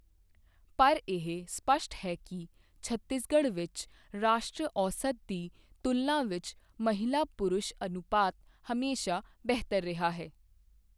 ਪਰ ਇਹ ਸਪੱਸ਼ਟ ਹੈ ਕਿ ਛੱਤੀਸਗੜ੍ਹ ਵਿੱਚ ਰਾਸ਼ਟਰੀ ਔਸਤ ਦੀ ਤੁਲਨਾ ਵਿੱਚ ਮਹਿਲਾ ਪੁਰਸ਼ ਅਨੁਪਾਤ ਹਮੇਸ਼ਾ ਬਿਹਤਰ ਰਿਹਾ ਹੈ।